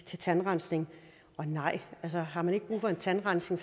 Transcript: til tandrensning og nej altså har man ikke brug for en tandrensning